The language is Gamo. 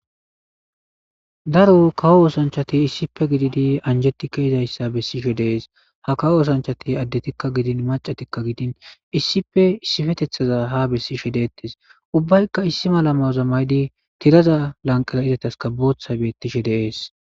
Daro kawo oosanchati issipe gididi anjettikka yizayssa bessishe deees ha kawo oosanchati addetikka gidin macatikka gidin issipe issipetethaza ha bessishe deettes ubbaykka issi mala maza maydi tiraza lanqala izataska booththa beettishe deees.